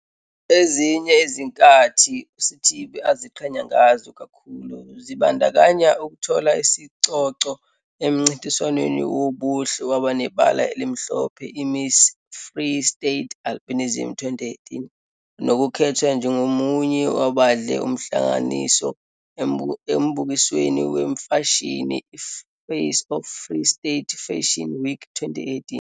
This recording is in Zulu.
Amathuba abantu abasha abanawo manje ahlukile kakhulu futhi athuthukile kakhulu.